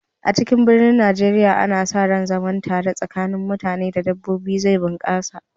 A cikin biranen Najeriya, ana sa ran zaman tare tsakanin mutane da dabbobi zai bunƙasa.